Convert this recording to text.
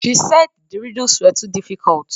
She said the riddles were too diffuicult